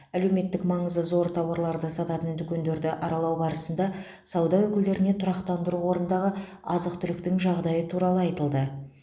әлеуметтік маңызы зор тауарларды сататын дүкендерді аралау барысында сауда өкілдеріне тұрақтандыру қорындағы азық түліктің жағдайы туралы айтылды